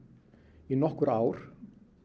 í nokkur ár